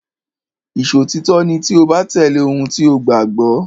Ìṣòtítọ́ ni tí o bá tẹ̀lé ohun tí o gbàgbọ́.